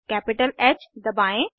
capital ह दबाएं